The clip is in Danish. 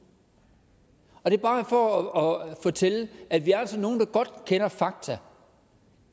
det er bare for at fortælle at vi altså er nogen der godt kender fakta